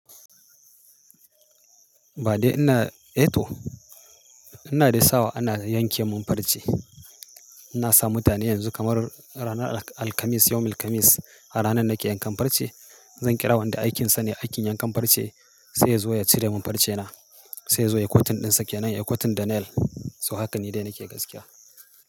Ba dai ina, eh to ina dai sawa ana yanke mun farce. Na sa mutane yanzu kamar ranar Alkamis, yawmil kamis a ranan nake yankan farce. Zan kira wanda aikinsa ne aikin yankan farce sai ya zo ya cire mun farcena. Sai ya zo ya cutting ɗinsa ke nan ya cutting da nail. To hakan ni dai nake gaskiya.